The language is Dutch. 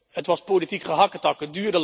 Het was politiek gehakketak.